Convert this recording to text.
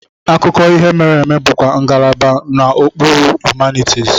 Akụkọ ihe mere eme bụkwa ngalaba n'okpuru Humanities.